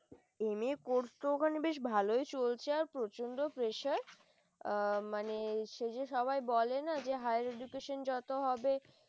MA পড়তে ওখানে বেশ ভালই চলছে। প্রচন্ড press ure অ মানে সেই যে সবাই বলে না, যে হায়ার education যত হবে ।